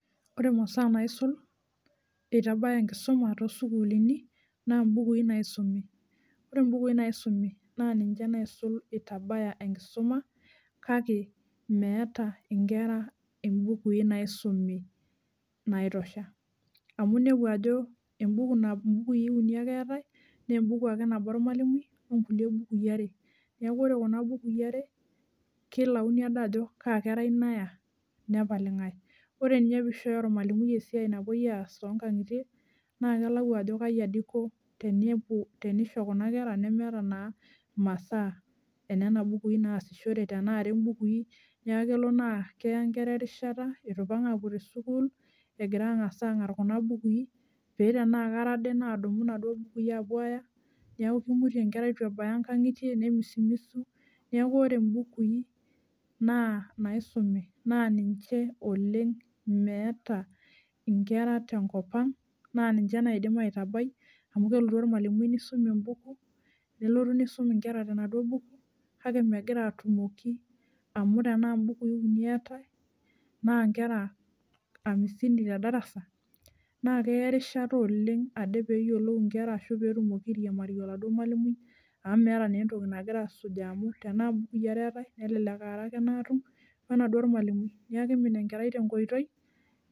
Ore imasaa naisul itabaya enkisuma toosukulini naa imbukui naisumi . Ore mbukui naisumi naa ninche naisul itabaya enkisuma kake meeta inkera imbukui naisumi naitosha. Amu inepu ajo embuku nabo, imbukui uni ake eetae , nee embuku nabo ake ormwalimui onkulie bukui are , niaku ore kuna bukui are , kelayuni ade ajo kaa kerai naya , nepal ingae . Ore ninye pishoyo ormwalimui esiai napuoi aas toonkangitie naa kelau ajo kaji ade iko tenepuo , tenisho kuna kera nemeeta naa imasaa enena bukui naasishore , tenaa are imbukui naa kelo naa keya inkera erishata itu ipang apuo tesukuul egira angas angar kuna bukui pee tenaa kare ade nadumu inaduo bukui apuo aya , niaku kimutie inkera itu ebaya nkangitie ne, misumisu , niaku ore mbukui naa inaisumi naa ninche oleng meeta nkera tenkopang naa ninche naidim aitabai amu kelotu ormwalimui nisum embuku , nelotu nisum inkera tenaduo buku kake megira atumoki amu tenaa mbukui uni eetae naa nkera hamsini ten`darasa naa keya erishata oleng ade peyiolou inkera ashu peetumoki airiamarie oladuo mwalimui amu meeta naa entoki nagira asujaa amu tenaa mbukui are ake eetae nelelek aare ake natum wenaduo ormwalimui niaku kimin enkerai tenkoitoi.